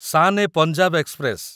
Shan e Punjab express